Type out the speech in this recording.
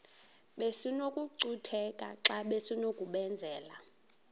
besinokucutheka xa besinokubenzela